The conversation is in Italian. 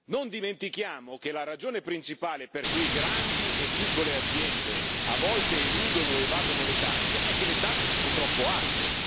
Non dimentichiamo che la ragione principale per cui grandi e piccole aziende a volte eludono o evadono le tasse è che le tasse sono troppo alte.